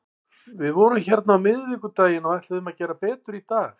Við vorum hérna á miðvikudaginn og ætluðum að gera betur í dag.